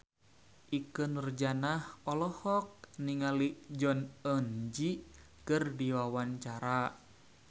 Ikke Nurjanah olohok ningali Jong Eun Ji keur diwawancara